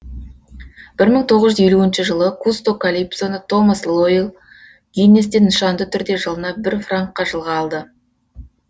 бір мың тоғыз жүз елуінші жылы кусто калипсоны томас лоэл гиннесстен нышанды түрде жылына бір франкқа жылға алды